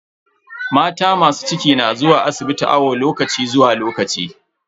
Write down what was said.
Mata masu ciki na zuwa asibiti awo lokaci zuwa lokaci.